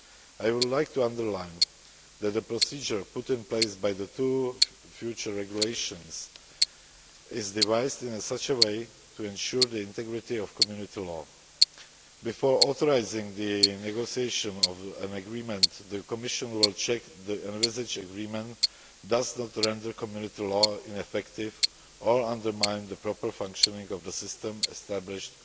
I would like to underline that the procedure put in place by the two future regulations is devised in such a way as to ensure the integrity of Community law. Before authorising the negotiation of an agreement, the Commission will check that the envisaged agreement does not render Community law ineffective or undermine the proper functioning of the system established